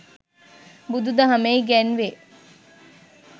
බුදුදහමේ ඉගැන්වේ.